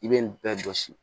I bɛ nin bɛɛ jɔsi